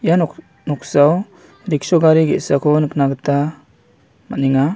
Ia-nok-noksao riksho gari ge·sako nikna gita man·enga.